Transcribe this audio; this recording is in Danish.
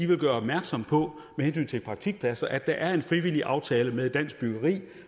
vil gøre opmærksom på med hensyn til praktikpladser at der er en frivillig aftale med dansk byggeri